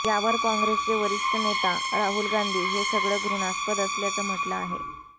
यावर काँग्रेसचे वरिष्ठ नेता राहुल गांधी हे सगळं घृणास्पद असल्याचं म्हटलं आहे